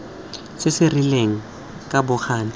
se se rileng ka bokgabane